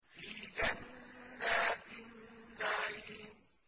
فِي جَنَّاتِ النَّعِيمِ